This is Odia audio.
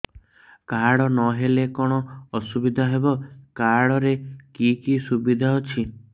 କାର୍ଡ ନହେଲେ କଣ ଅସୁବିଧା ହେବ କାର୍ଡ ରେ କି କି ସୁବିଧା ଅଛି